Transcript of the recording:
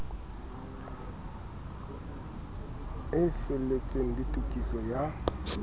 e felletseng le tokiso ya